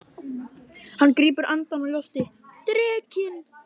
Hann grípur andann á lofti. drekinn!